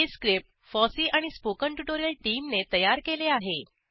हे script FOSSEE आणि spoken tutorial टीमने तयार केले आहे